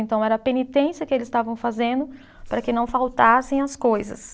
Então, era a penitência que eles estavam fazendo para que não faltassem as coisas.